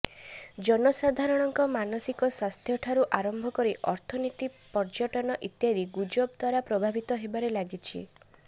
ଜନସାଧାରଣଙ୍କ ମାନସିକ ସ୍ୱାସ୍ଥ୍ୟଠାରୁ ଆରମ୍ଭ କରି ଅର୍ଥନୀତି ପର୍ଯ୍ୟଟନ ଇତ୍ୟାଦି ଗୁଜବ ଦ୍ୱାରା ପ୍ରଭାବିତ ହେବାରେ ଲାଗିଛି